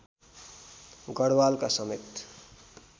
गढवालका समेत